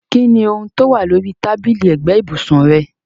Kini oun towa lórí tábìlì ẹ́gbẹ̀ ibùsùn rẹ?